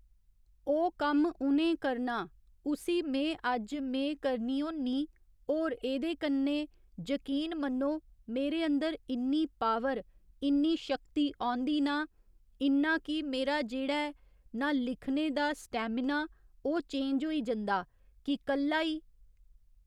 ओह् कम्म उ'नें करना उसी मे अज्ज में करनी होन्नी होर एह्दे कन्ने जकीन मन्नो मेरे अंदर इन्नी पावर इन्नी शक्ति औंदी ना इन्ना कि मेरा जेह्ड़ा ऐ ना लिखने दा स्टैमिना ओह् चेंज होई जंदा कि कल्ला ई